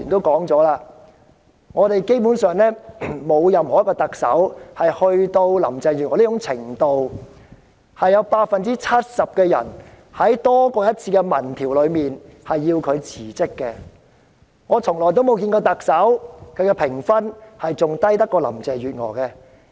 剛才多位議員提到，沒有一位特首好像林鄭月娥般，在多次民調裏有多於 70% 的受訪者希望她辭職，從來沒有一位特首的評分會比林鄭月娥更低。